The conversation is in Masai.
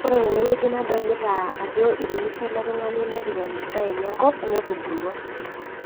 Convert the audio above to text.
koree tenewueji naadolitaa ajo iremishe ele tungani nepik endaa enye enkop netubulua